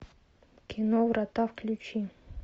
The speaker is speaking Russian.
кино врата включи